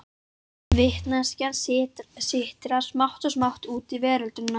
Vitneskjan sitrar smátt og smátt út í verundina.